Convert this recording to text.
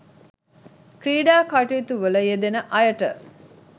ක්‍රීඩා කටයුතුවල යෙදෙන අයට